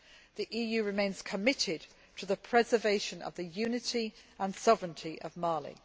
The EU remains committed to the preservation of the unity and sovereignty of Mali.